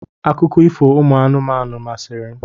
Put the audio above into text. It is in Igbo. Akụkọ ifo ụmụ anụmanụ masịrị m.